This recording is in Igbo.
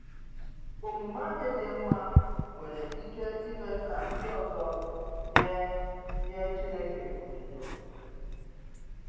Omume anyị dị mma nwere ike ime ka ndị ọzọ nye nye Chineke otuto.